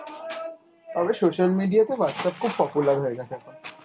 তবে social media তে Whatsapp খুব popular হয়ে গেছে এখন।